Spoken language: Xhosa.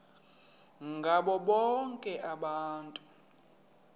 ngabo bonke abantu